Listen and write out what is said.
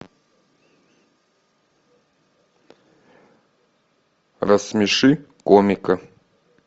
рассмеши комика